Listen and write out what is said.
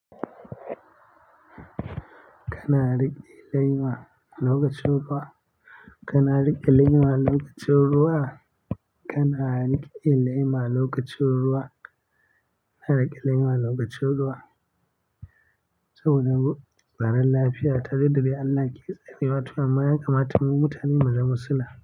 Kana riƙe lema lokacin ruwa. Kana riƙe lema lokacin ruwa. Kana rikile ma lokaci ruwa. Kana rikile ma lokaci ruwa. Saboda haka tsaron lafiya ta duk da dai Allah ke tsarewa to amma ya kamata mu mutane mu zama sila.